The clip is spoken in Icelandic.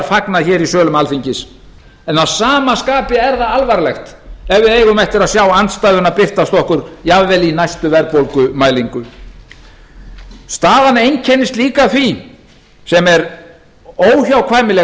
fagnað hér í sölum alþingis en að sama skapi er það alvarlegt ef við eigum eftir að sjá andstæðuna birtast okkur jafnvel í næstu verðbólgumælingu staðan einkennist líka af því sem er óhjákvæmileg